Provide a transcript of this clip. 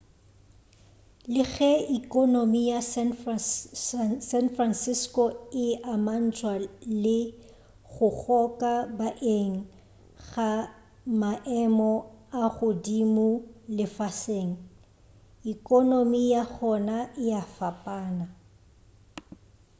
le ge ekonomi ya san francisco e amantšhwa le go goka baeng ga maemo a godimo lefaseng ekonomi ya gona e a fapana